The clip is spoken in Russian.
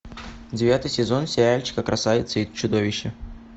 девятый сезон сериальчика красавица и чудовище